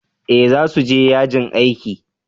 eh za su je yajin aiki